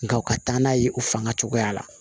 Nga u ka taa n'a ye u fanga cogoya la